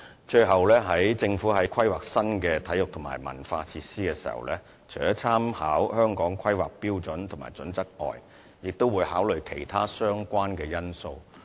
最後，政府在規劃新的體育及文化設施時，除了參考《香港規劃標準與準則》外，也會考慮其他相關因素。